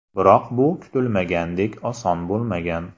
Biroq bu kutilganidek oson bo‘lmagan.